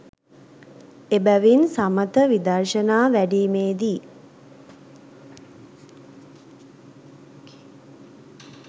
එබැවින් සමථ විදර්ශනා වැඩීමේ දී